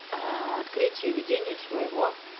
аа открытие ведению своего